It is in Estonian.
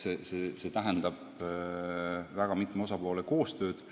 See tähendab väga mitme osapoole koostööd.